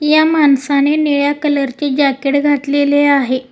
या माणसाने निळ्या कलर चे जॅकेट घातलेले आहे.